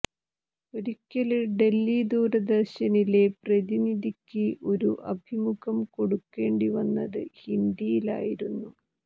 ഒരിക്കല് ഡല്ഹി ദൂരദര്ശനിലെ പ്രതിനിധിക്ക് ഒരു അഭിമുഖം കൊടുക്കേണ്ടിവന്നത് ഹിന്ദിയിലായിരുന്നു